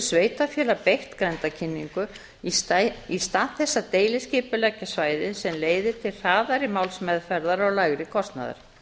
sveitarfélag beitt grenndarkynningu í stað þess að deiliskipuleggja svæðið sem leiðir til hraðari málsmeðferðar og lægri kostnaðar